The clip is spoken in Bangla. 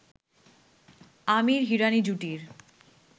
আমির-হিরানি জুটির